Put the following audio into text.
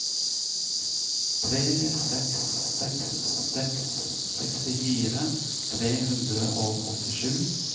tre seks seks seks sekstifire tre hundre og åttisju